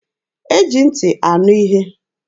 E ji ntị anụ ihe.